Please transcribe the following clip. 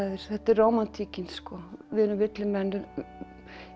þetta er rómantíkin við erum villimenn í